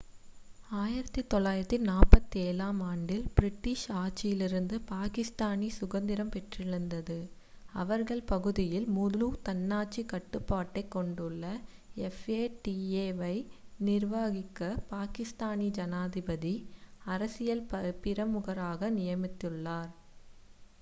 "1947 ஆம் ஆண்டில் பிரிட்டிஷ் ஆட்சியிலிருந்து பாகிஸ்தானி சுதந்திரம் பெற்றதிலிருந்து அவர்கள் பகுதியில் முழு தன்னாட்சி கட்டுப்பாட்டை கொண்டுள்ள fata வை நிர்வகிக்க பாகிஸ்தானி ஜனாதிபதி "அரசியல் பிரமுகர்களை" நியமித்துள்ளார்.